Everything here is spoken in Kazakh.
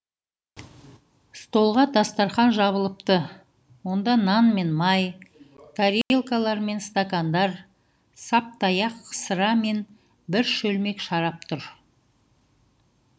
столға дастархан жабылыпты онда нан мен май тарелкалар мен стакандар саптаяқ сыра мен бір шөлмек шарап тұр